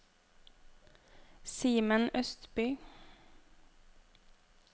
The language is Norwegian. Simen Østby